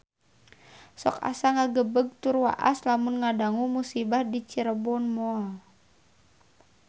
Sok asa ngagebeg tur waas lamun ngadangu musibah di Cirebon Mall